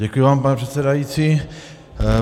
Děkuji vám, pane předsedající.